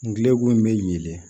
Ngu in bɛ ɲeelen